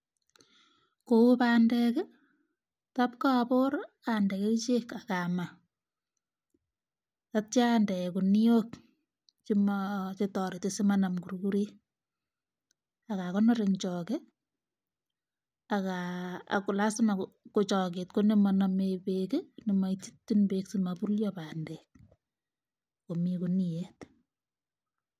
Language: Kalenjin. Kou bandek tap kabor ande kerchek akamaa yeityo ande kuniok chetoreti komanam kurkurik akokonor eng choke ako lasima ko choket komanomei beek komaitchin beek simabulyo bandek.